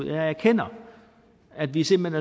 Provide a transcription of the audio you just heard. jeg erkender at vi simpelt